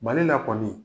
Mali la kɔni